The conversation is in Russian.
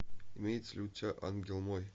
имеется ли у тебя ангел мой